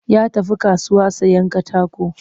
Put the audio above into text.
Ya tafi kasuwa sayen katako